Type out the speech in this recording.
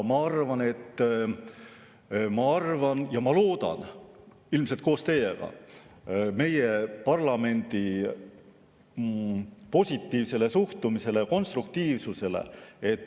Ma arvan ja ma loodan ilmselt koos teiega meie parlamendi positiivsele suhtumisele ja konstruktiivsusele.